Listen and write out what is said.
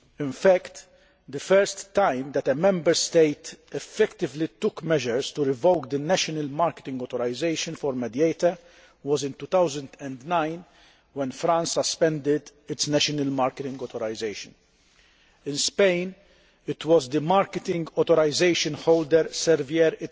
In fact, the first time that a Member State effectively took measures to revoke the national marketing authorisation for Mediator was in 2009, when France suspended its national marketing authorisation. In Spain, it was the marketing authorisation holder, Servier,